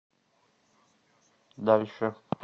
дальше